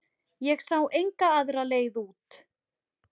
Ég sá enga aðra leið út.